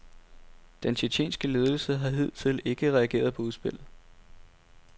Den tjetjenske ledelse har hidtil ikke reageret på udspillet.